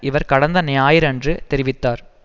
இவர் கடந்த ஞாயிறன்று தெரிவித்தார்